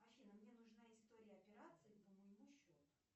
афина мне нужна история операций по моему счету